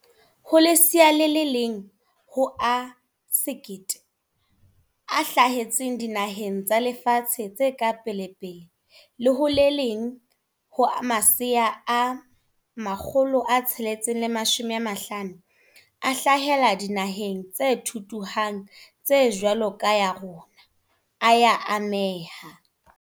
"Ho lesea le leng ho a 1 000 a hla hetseng dinaheng tsa lefatshe tse ka pelepele le ho le leng ho masea a 650 a hlahela dinaheng tse thuthuhang tse jwalo ka ya rona, a ya ameha."